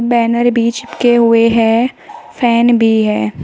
Banner भी चिपके हुए हैं फैन भी है।